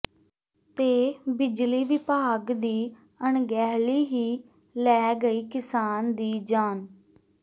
ਤੇ ਬਿਜਲੀ ਵਿਭਾਗ ਦੀ ਅਣਗਹਿਲੀ ਹੀ ਲੈ ਗਈ ਕਿਸਾਨ ਦੀ ਜਾਨ